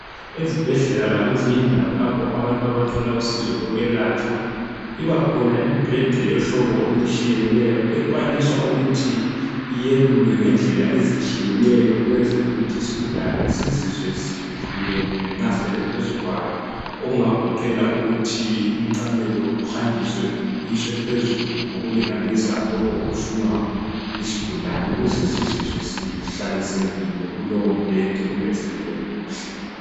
Ezibhedlela lakwezinye indawo lapho abantu abathola usizo lokwelatshwa ibakhona imibheda yohlobo olutshiyeneyo ekwanisa ukuthi iyelulwe ngendlela ezitshiyeneyo ukwenzela ukuthi isigulane sizizwe sikhululekile nxa silele phezu kwawo okungagoqela ukuthi umqamelo uhanjiswe uyiswe phezulu ngokulinganisa lokhu okufunwa yisigulane ukuze sizizwe sihlalisekile kulowombheda kumbe silele kuhle.